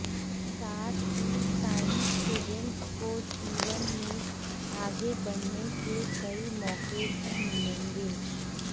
साथ ही science students को जीवन में आगे बढ़ने के कई मौके भी मिलेंगे